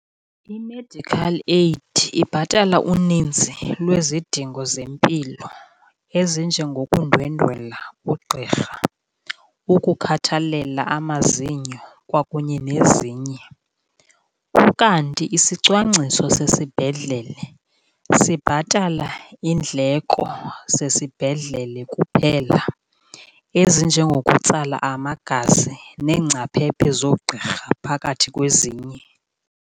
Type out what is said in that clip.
I-medical aid ibhatala uninzi lwezidingo zempilo ezinjengokundwendwela ugqirha, ukukhathalela amazinyo kwakunye nezinye. Ukanti isicwangciso sesibhedlele sibhatala iindleko zesibhedlele kuphela, ezinjengokutsala amagazi neengcaphephe zoogqirha phakathi kwezinye.